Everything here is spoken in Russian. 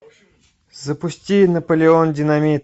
запусти наполеон динамит